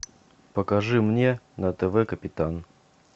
покажи мне на тв капитан